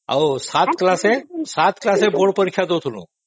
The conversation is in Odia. ଆଉ ସାତ class ରେ ବୋର୍ଡ଼ ପରୀକ୍ଷା ଦେଉଥିଲୁ